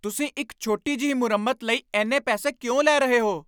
ਤੁਸੀਂ ਇੱਕ ਛੋਟੀ ਜਿਹੀ ਮੁਰੰਮਤ ਲਈ ਇੰਨੇ ਪੈਸੇ ਕਿਉਂ ਲੈ ਰਹੇ ਹੋ?